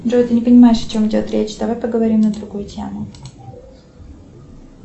джой ты не понимаешь о чем идет речь давай поговорим на другую тему